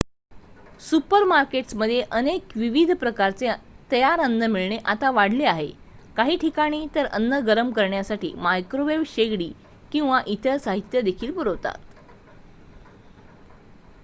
सुपरमार्केट्समध्ये अधिक विविध प्रकारचे तयार अन्न मिळणे आता वाढले आहे काही ठिकाणी तर अन्न गरम करण्यासाठी मायक्रोवेव्ह शेगडी किंवा इतर साहित्य देखील पुरवतात